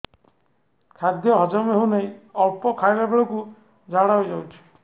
ଖାଦ୍ୟ ହଜମ ହେଉ ନାହିଁ ଅଳ୍ପ ଖାଇଲା ବେଳକୁ ଝାଡ଼ା ହୋଇଯାଉଛି